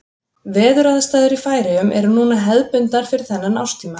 Veðuraðstæður í Færeyjum eru núna hefðbundnar fyrir þennan árstíma.